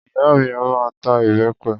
Ìyá mi a máa ta ìbẹpẹ